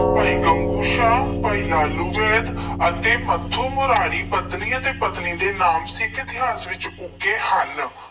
ਭਾਈ ਗੰਗੂ ਸ਼ਾਹ, ਭਾਈ ਲਾਲੂ ਵੈਦ ਅਤੇ ਮੱਥੋ ਮਰਾਰੀ ਪਤਨੀ ਅਤੇ ਪਤਨੀ ਦੇ ਨਾਮ ਸਿੱਖ ਇਤਿਹਾਸ ਵਿੱਚ ਉੱਘੇ ਹਨ।